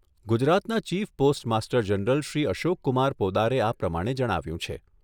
ગુજરાતના chief postmaster general Shri Ashok Kumar પોદારે આ પ્રમાણે જણાવ્યું છે.